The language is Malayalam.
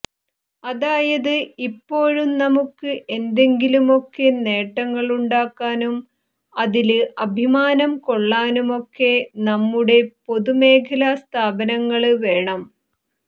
അതായത് ഇപ്പോഴും നമുക്ക് എന്തെങ്കിലുമൊക്കെ നേട്ടങ്ങളുണ്ടാക്കാനും അതില് അഭിമാനം കൊള്ളാനുമൊക്കെ നമ്മുടെ പൊതുമേഖലാ സ്ഥാപനങ്ങള് വേണം